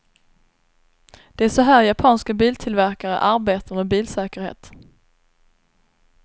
Det är så här japanska biltillverkare arbetar med bilsäkerhet.